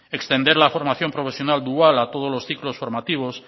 extender la formación profesional dual a todos los ciclos formativos